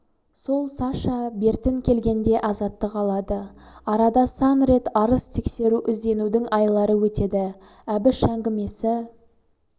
сол саша бертін келгенде азаттық алады арада сан рет арыз тексеру ізденудің айлары өтеді әбіш әңгімесі